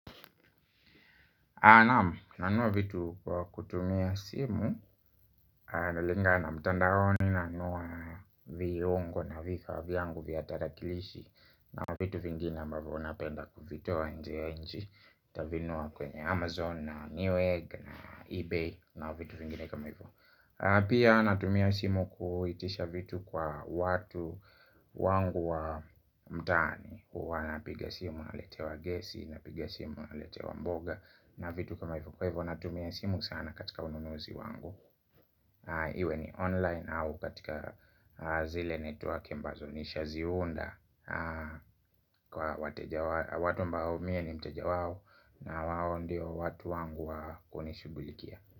Naam nanunua vitu kutumia simu, inalingana mtandaoni, nanunua viungo na visa vyangu vya tarakilishi. Na vitu vingine ambavyo napenda kuvitoa nje ya nj, nitavinunua kwenye Amazon na New Egg na Ebay na vitu vingine kama hivo. Pia natumia simu kuitisha vitu kwa watu wangu wa mtaani huwa napiga simu naletewa gesi, napiga simu naletewa mboga. Na vitu kama hivo kwa hivo natumia simu sana katika ununuzi wangu. Iwe ni online au katika zile network mbazo nishaziunda kwa watu ambao mie ni mteja wao. Na wao ndio watu wangu wa kunishughulikia.